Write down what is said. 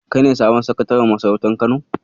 Kai ne sabon Sakataren masarautar Kano?